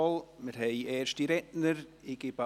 Die Liste ist offen.